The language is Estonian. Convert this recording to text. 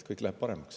Kõik läheb paremaks.